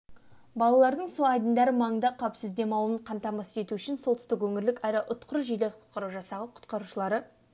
балалардың су айдындары маңында қауіпсіз демалуын қамтамасыз ету үшін солтүстік өңірлік аэроұтқыр жедел құтқару жасағы құтқарушылары